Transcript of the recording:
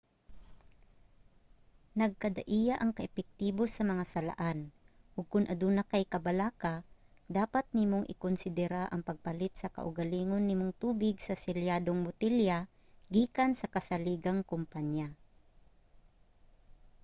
nagkadaiya ang ka-epektibo sa mga salaan ug kon aduna kay kabalaka dapat nimong ikonsedera ang pagpalit sa kaugalingon nimong tubig sa selyadong botelya gikan sa kasaligang kompanya